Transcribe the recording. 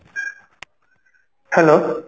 hello